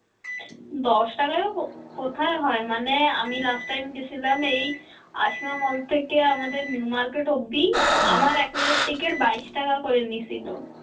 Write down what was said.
দশ টাকারো ক~ কোথায় হয়, মানে আমি last time গেসিলাম এই অসীমা mall থেকে আমাদের new market অব্দি আমার একরের ticket বাইশ টাকা করে নিসিল.